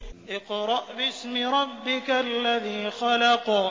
اقْرَأْ بِاسْمِ رَبِّكَ الَّذِي خَلَقَ